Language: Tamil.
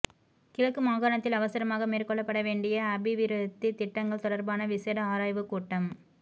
கிழக்கு மாகாணத்தில் அவசரமாக மேற்கொள்ளப்படவேண்டிய அபிவிருத்தித்திட்டங்கள் தொடர்பான விசேட ஆராய்வுக் கூட்டம்